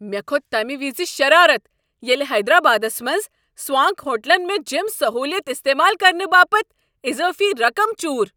مےٚ كھو٘ت تمہ وز شرارتھ ییٚلہ حیدرآبادس منٛز سوانک ہوٹلن مےٚ جِم سہوٗلیت استعمال کرنہٕ باپتھ اضٲفی رقم چور۔